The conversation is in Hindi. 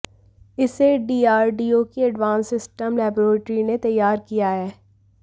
इसे डीआरडीओ की एडवांस सिस्टम लेबोरेटरी ने तैयार किया है